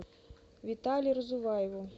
витале разуваеву